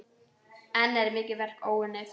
Enn er mikið verk óunnið.